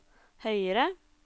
høyere